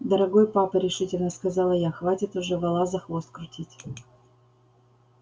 дорогой папа решительно сказала я хватит уже вола за хвост крутить